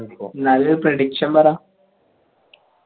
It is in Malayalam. എന്നാലും prediction പറ